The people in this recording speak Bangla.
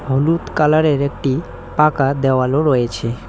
হলুদ কালার -এর একটি পাকা দেওয়ালও রয়েছে।